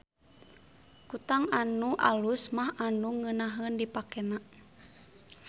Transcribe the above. Kutang anu alus mah anu ngeunaheun dipakena.